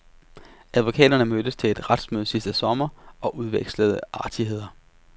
Advokaterne mødtes til et retsmøde sidste sommer og udvekslede artigheder.